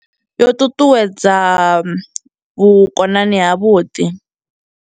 Yo ṱuṱuwedza vhukonani ha vhuḓi.